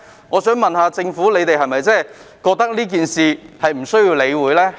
我想問政府是否認為這事宜不需要理會？